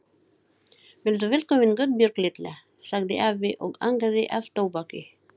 Vertu velkomin Guðbjörg litla, sagði afi og angaði af tóbaki.